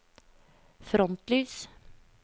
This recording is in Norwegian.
frontlys